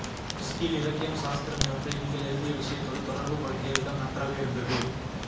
டிஸ்கி யில் இலக்கியம் சாஸ்திரம் இவற்றை நீங்கள் எழுதிய விஷயத்தோடு தொடர்பு படுத்திய விதம் நன்றாக இருந்தது